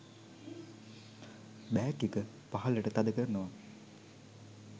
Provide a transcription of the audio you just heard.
bag එක පහලට තද කරනව